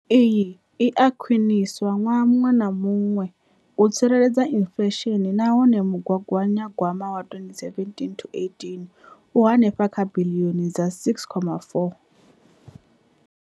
Iyi i a khwiniswa ṅwaha muṅwe na muṅwe u tsireledza inflesheni nahone mugaganya gwama wa 2017,18 u henefha kha biḽioni dza R6.4.